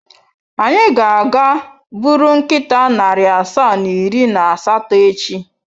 Anyị ga-aga buru nkịta narị asaa na iri na asatọ echi.